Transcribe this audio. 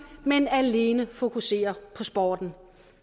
men alene fokuserer på sporten